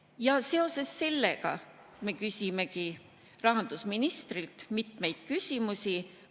Ja seoses sellega me küsimegi rahandusministrilt mitmeid küsimusi.